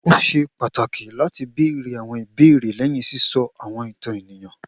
O ṣe pataki lati beere awọn ibeere lẹhin sisọ awọn itan eniyan